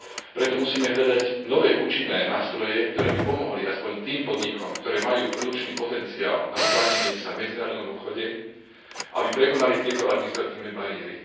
Preto musíme hľadať nové účinné nástroje, ktoré by pomohli aspoň tým podnikom, ktoré majú produkčný potenciál na uplatnenie sa v medzinárodnom obchode, aby prekonali tieto administratívne bariéry.